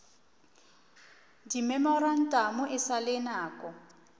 dimemorantamo e sa le nako